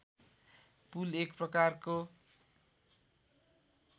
पुल एक प्रकारको